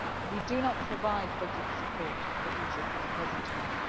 We do not provide budget support for Egypt at the present time.